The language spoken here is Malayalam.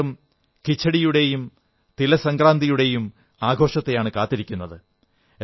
യും ബീഹാറും ഖിചഡിയുടെയും തിലസംക്രാന്തിയുടെയും ആഘോഷത്തെയാണു കാത്തിരിക്കുന്നത്